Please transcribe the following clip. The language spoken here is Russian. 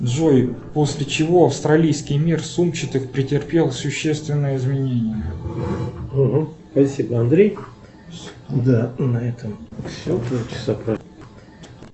джой после чего австралийский мир сумчатых претерпел существенные изменения